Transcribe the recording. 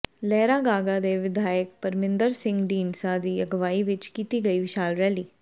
ਲਹਿਰਾਗਾਗਾ ਦੇ ਵਿਧਾਇਕ ਪਰਮਿੰਦਰ ਸਿੰਘ ਢੀਂਡਸਾ ਦੀ ਅਗਵਾਈ ਵਿਚ ਕੀਤੀ ਗਈ ਵਿਸ਼ਾਲ ਰੈਲੀ